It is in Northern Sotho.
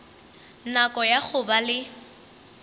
nako ya go ba le